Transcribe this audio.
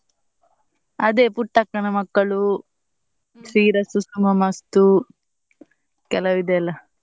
ಅದೇ ಪುಟ್ಟಕ್ಕನ ಮಕ್ಕಳು, ಶ್ರೀರಸ್ತು ಶುಭಮಸ್ತು ಕೆಲವ್ ಇದೆಯಲ್ಲ.